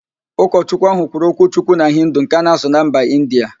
Ụkochukwu ahụ kwuru okwuchukwu na Hindu nke a na-asụ na mba Indịa